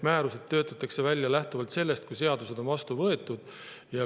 Määrused töötatakse välja, kui seadused on vastu võetud.